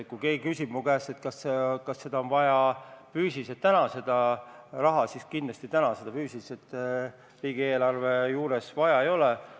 Kui keegi küsib mu käest, kas seda raha on füüsiliselt vaja täna, siis kindlasti täna seda füüsiliselt riigieelarves vaja ei ole.